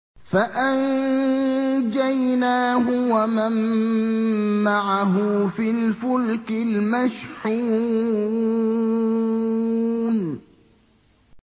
فَأَنجَيْنَاهُ وَمَن مَّعَهُ فِي الْفُلْكِ الْمَشْحُونِ